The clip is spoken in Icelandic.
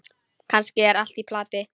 Kannski er allt í plati.